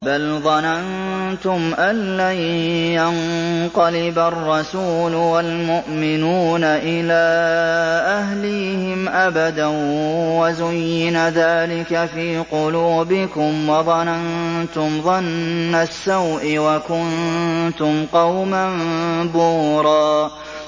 بَلْ ظَنَنتُمْ أَن لَّن يَنقَلِبَ الرَّسُولُ وَالْمُؤْمِنُونَ إِلَىٰ أَهْلِيهِمْ أَبَدًا وَزُيِّنَ ذَٰلِكَ فِي قُلُوبِكُمْ وَظَنَنتُمْ ظَنَّ السَّوْءِ وَكُنتُمْ قَوْمًا بُورًا